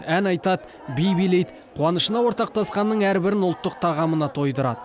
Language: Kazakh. ән айтады би билейді қуанышына ортақтасқанның әрбірін ұлттық тағамына тойдырады